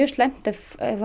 slæmt ef